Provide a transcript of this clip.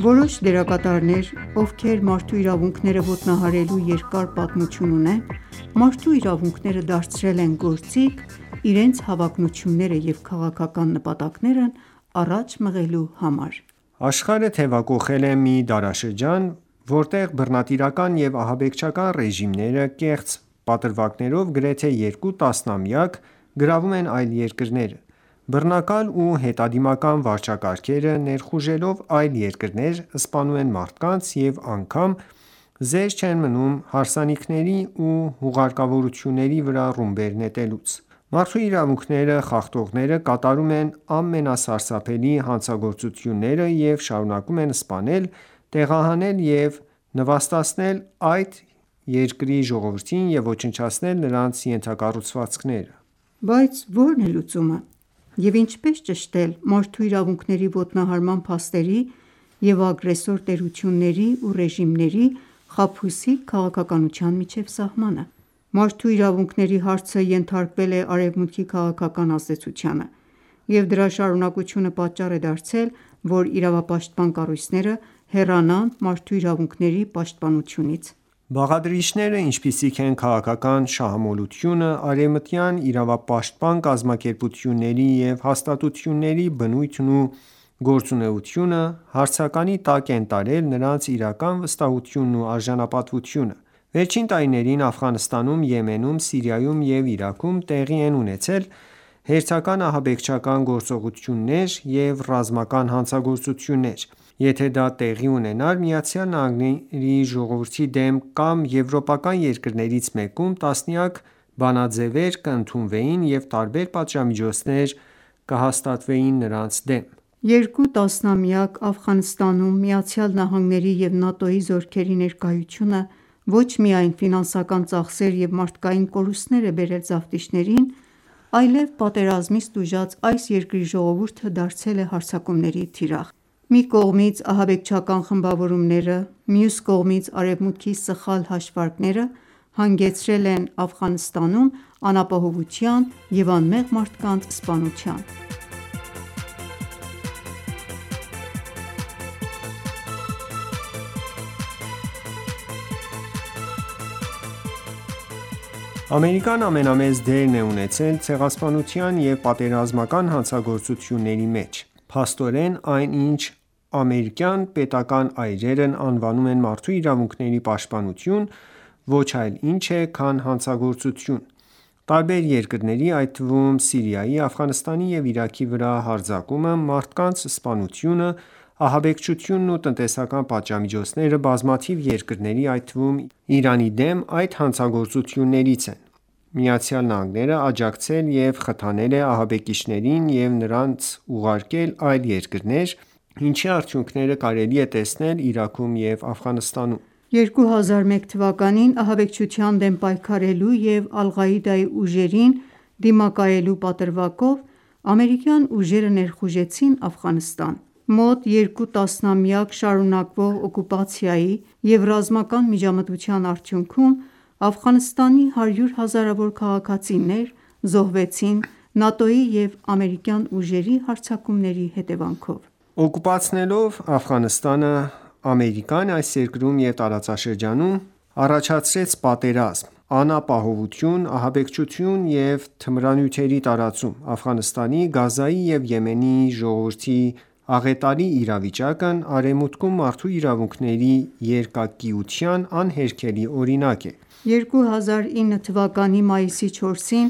Որոշ դերակատարներ, ովքեր մարդու իրավունքները ոտնահարելու երկար պատմություն ունեն, մարդու իրավունքները դարձրել են գործիք՝իրենց հավակնությունները և քաղաքական նպատակներն առաջ մղելու համար: Աշխարհը թևակոխել է մի դարաշրջան, որտեղ բռնատիրական ​​և ահաբեկչական ռեժիմները կեղծ պատրվակներով գրեթե երկու տասնամյակ գրավում են այլ երկրները: Բռնակալ ու հետադիմական վարչակարգերը ներխուժելով այլ երկրներ սպանում են մարդկանց՝ և անգամ զերծ չեն մնում հարսանիքների ու հուղարկավորությունների վրա ռումբեր նետելուց։ Մարդու իրավունքները խախտողները կատարում են ամենասարսափելի հանցագործությունները և շարունակում են սպանել, տեղահանել և նվաստացնել այդ երկրի ժողովրդին և ոչնչացնել նրանց ենթակառուցվածքները։ Բայց ո՞րն է լուծումը և ինչպես ճշտել մարդու իրավունքների ոտնահարման փաստերի և ագրեսոր տերությունների ու ռեժիմների խաբուսիկ քաղաքականության միջև սահմանը։ Մարդու իրավունքների հարցը ենթարկվել է Արևմուտքի քաղաքական ազդեցությանը, և դրա շարունակությունը պատճառ է դարձել, որ իրավապաշտպան կառույցները հեռանան մարդու իրավունքների պաշտպանությունից։ Բաղադրիչները, ինչպիսիք են քաղաքական շահամոլությունը, արևմտյան իրավապաշտպան կազմակերպությունների և հաստատությունների բնույթն ու գործունեությունը, հարցականի տակ են տարել նրանց իրական վստահությունն ու արժանապատվությունը: Վերջին տարիներին Աֆղանստանում. Եմենում, Սիրիայում և Իրաքում տեղի են ունեցած հերթական ահաբեկչական գործողությունները և ռազմական հանցագործությունները, եթե դա տեղի ունենար ԱՄՆ-ի ժողովրդի դեմ կամ եվրոպական երկրներից մեկում, տասնյակ բանաձևեր կընդունվեին և տարբեր պատժամիջոցներ կսահմանվեին նրանց դեմ։ Երկու տասնամյակ Աֆղանստանում ԱՄՆ-ի և ՆԱՏՕ-ի զորքերի ներկայությունը ոչ միայն ֆինանսական ծախսեր և մարդկային կորուստներ է բերել զավթիչներին, այլև պատերազմից տուժած այս երկրի ժողովուրդը դարձել է հարձակումների թիրախ։ Մի կողմից ահաբեկչական խմբավորումները, մյուս կողմից Արևմուտքի սխալ հաշվարկները հանգեցրել են Աֆղանստանում անապահովության և անմեղ մարդկանց սպանության։ Ամերիկան ​​ամենամեծ դերն է ունեցել ցեղասպանության և պատերազմական հանցագործությունների մեջ: Փաստորեն, այն, ինչ ամերիկյան պետական ​​այրերն անվանում են մարդու իրավունքների պաշտպանություն, ոչ այլ ինչ է, քան հանցագործություն։ Տարբեր երկրների այդ թվում՝ Սիրիայի, Աֆղանստանի և Իրաքի վրա հարձակումը, մարդկանց սպանությունը, ահաբեկչությունն ու տնտեսական պատժամիջոցները բազմաթիվ երկրների այդ թվում՝ Իրանի դեմ, այդ հանցագործություններից են: ԱՄՆ ​​աջակցել և խթանել է ահաբեկիչներին և նրան ուղարկել այլ երկրներ, ինչի արդյունքները կարելի է տեսնել Իրաքում և Աֆղանստանում։ 2001 թվականին ահաբեկչության դեմ պայքարելու և Ալ-Ղաիդայի ուժերին դիմակայելու պատրվակով ամերիկյան ուժերը ներխուժեցին Աֆղանստան։ Մոտ երկու տասնամյակ շարունակվող օկուպացիայի և ռազմական միջամտության արդյունքում Աֆղանստանի հարյուր հազարավոր քաղաքացիներ զոհվեցին ՆԱՏՕ-ի և ամերիկյան ուժերի հարձակումների հետևանքով: Օկուպացնելով Աֆղանստանը՝ Ամերիկան ​​այս երկրում և տարածաշրջանում առաջացրեց պատերազմ, անապահովություն, ահաբեկչություն և թմրանյութերի տարածում։ Աֆղանստանի, Գազայի և Եմենի ժողովրդի աղետալի իրավիճակն Արևմուտքում մարդու իրավունքների երկակիության անհերքելի օրինակ է: 2009 թվականի մայիսի 4-ին